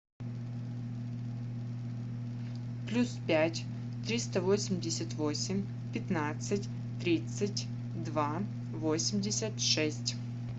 плюс пять триста восемьдесят восемь пятнадцать тридцать два восемьдесят шесть